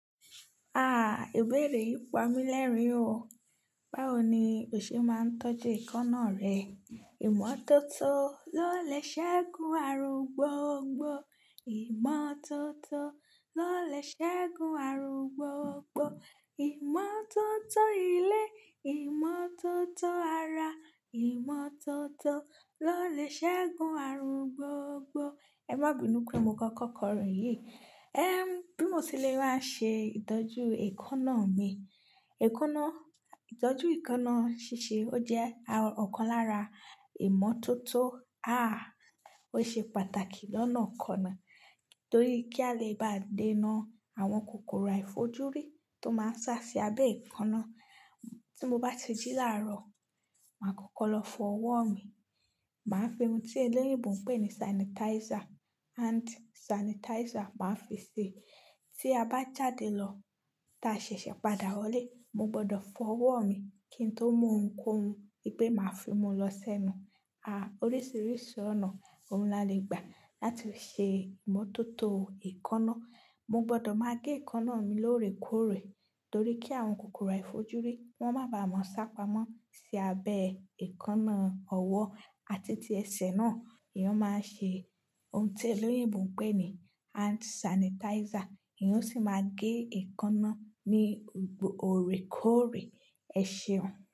Ah, ìbéèrè ìpamí lẹ́rìn-ín o. Báwo ni ò ṣe máa ń tọ́jú èékánná rẹ? Ìmọ́tótó ló lè ṣẹ́gun àrùn gbogbo, ìmọ́tótó ló lè ṣẹ́gun àrùn gbogbo, ìmọ́tótó ilé, ìmọ́tótó ara, ìmọ́tótó ló lè ṣẹ́gun àrùn gbogbo. Ẹ má bínú pé mo kọ́kọ́ kọrin yìí. Ehn, bí mo ṣe lè máa ṣe ìtọ́jú èékánná mi. Èékánná, ìtọ́jú èékánná ṣíṣe ó jẹ́ ọ̀kan lára ìmọ́tótó. Ah, ó ṣe pàtàkì lọ́nà kan náà torí kí a lè bá dènà àwọn kòkòrò àìfojúrí tó máa ń ṣá sí abẹ́ èékánná. Tí mo bá tijú láàárọ̀, màá kọ́kọ́ lọ fọ ọwọ́ mi, màá fi ohun tí eléwìgbù ń pè ní sanitizer, hand sanitizer màá fi ṣẹ. Tí a bá jáde lọ ta ṣẹ̀ṣẹ̀ padà wọlé, mo gbọdọ̀ fọ ọwọ́ mi kí n tó mu ohunkóhun wípé màá fi mú un lọ sẹ́nu. Ah, oríṣìíríṣìí ọ̀nà òun la le gbà láti ṣe ìmọ́tótó èékánná. Mo gbọdọ̀ máa gé èékánná mi lóòrèkóòrè torí kí àwọn kòkòrò àìfojúrí wọ́n máa ba à máa sá pamọ́ sí abẹ́ èékánná. Ọwọ́ àti ti ẹsẹ̀ náà, ìyẹn máa ṣe ohun tí eléyibù ń pè ní hand sanitizer. Ìyẹn sì máa gé èékánná ní òrèkóòrè ẹsẹ̀.